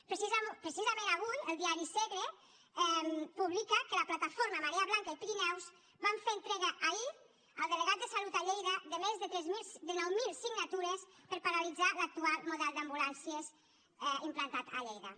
precisament avui el diari segre publica que la plataforma marea blanca de pirineus van fer entrega ahir al delegat de salut a lleida de més de nou mil signatures per a paralitzar l’actual model d’ambulàncies implantat a lleida